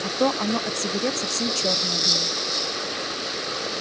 а то оно от сигарет совсем чёрное было